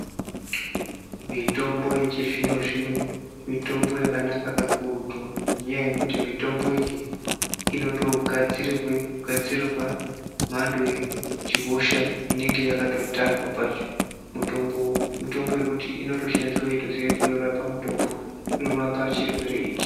Mitombo yechizvino-zvino mitombo yakanaka kakurutu ngenyaya yekuti mitombo iyi inotogadzirirwe mhando yehosha inenge yakatotarwa pashi, mitombo yekuti inotoshandiswe weitoziya kuti inorape chirwere ichi.